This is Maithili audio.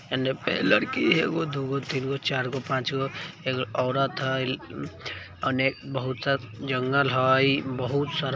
एने लड़की जो है ए गो दु गो तिन गो चार गो पाँच गो एकगो औरत है आने बहुत सारा जंगल है बहुत सारा--